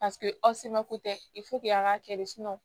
Paseke aw se mako tɛ a k'a kɛ de